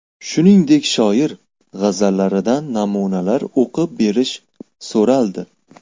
Shuningdek, shoir g‘azallaridan namunalar o‘qib berish so‘raldi.